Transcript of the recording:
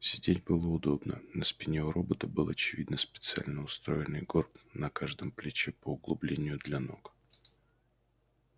сидеть было удобно на спине у робота был очевидно специально устроенный горб на каждом плече по углублению для ног